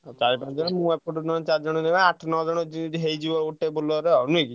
ଚାରି ପାଞ୍ଚ ଜଣ ମୁଁ ଏପଟୁ ନାହେଲେ ଚାରି ଜଣ କଣ ଆଠ ନଅ ଜଣ ହେଇଯିବ ଗୋଟେ ବୋଲେରୋ ଆଉ।